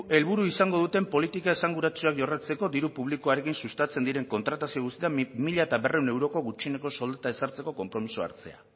helburu izango duten politika esanguratsuak jorratzeko diru publikoarekin sustatzen diren kontratazio guztietan mila berrehun euroko gutxieneko soldata ezartzeko konpromisoa hartzea